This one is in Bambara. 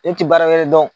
Ne ti baara wɛrɛ dɔn